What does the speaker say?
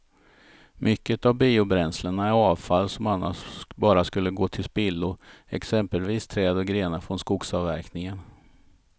Mycket av biobränslena är avfall som annars bara skulle gå till spillo, exempelvis träd och grenar från skogsavverkningen.